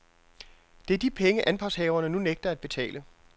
Det er de penge, anpartshaverne nu nægter at betale.